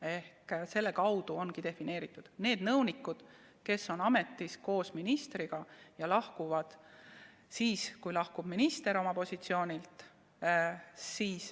Ehk selle kaudu ongi need nõunikud defineeritud: nad on ametis koos ministriga ja lahkuvad siis, kui minister lahkub oma positsioonilt.